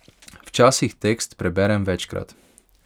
Včasih tekst preberem večkrat.